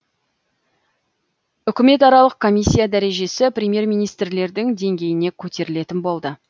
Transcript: үкіметаралық комиссия дәрежесі премьер министрлердің деңгейіне көтерілетін болды